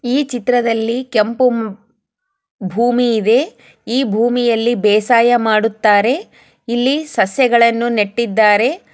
ಈ ಚಿತ್ರದಲ್ಲಿ ಕೆಂಪು ಭೂಮಿ ಇದೆ ಈ ಭೂಮಿಯಲ್ಲಿ ಬೇಸಾಯ ಮಾಡುತ್ತಾರೆ ಇಲ್ಲಿ ಸಸೆಗಳನ್ನು ನೆಟ್ಟಿದ್ದಾರೆ.